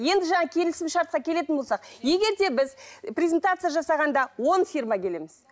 енді жаңа келісім шартқа келетін болсақ егер де біз презентация жасағанда он фирма келеміз